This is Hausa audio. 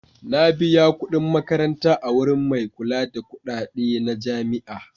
Na biya kuɗin makaranta a wurin mai kula da kuɗaɗe na jami'a.